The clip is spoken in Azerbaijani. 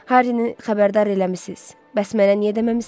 Harrini xəbərdar eləmisiniz, bəs mənə niyə deməmisiniz?